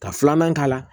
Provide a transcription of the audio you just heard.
Ka filanan k'a la